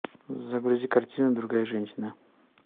загрузи картину другая женщина